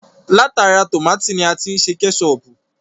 Látara tómátì ni a ti ṣe Kẹ́ṣọpù